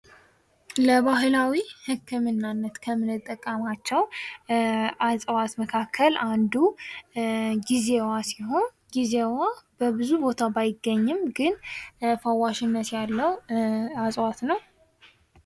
ለባህላዊ ህክምናነት ከምንጠቀማቸው እጽዋት መካከል አንዱ ጊዜዋ ሲሆን ጊዜዋ በብዙ ቦታ ባይገኝም ኝ ፋዋሽነት ያለው እጽዋት ነው።